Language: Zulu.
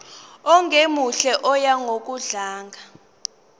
ongemuhle oya ngokudlanga